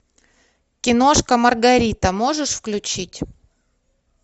киношка маргарита можешь включить